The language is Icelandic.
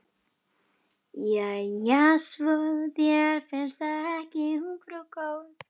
Jæja, svo þér finnst það ekki ungfrú góð.